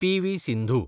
PV. Sindhu